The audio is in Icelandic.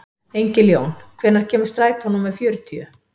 Engiljón, hvenær kemur strætó númer fjörutíu?